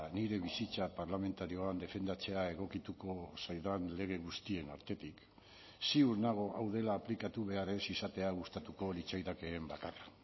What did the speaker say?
nire bizitza parlamentarioan defendatzea egokituko zaidan lege guztien artetik ziur nago hau dela aplikatu behar ez izatea gustatuko litzaidakeen bakarra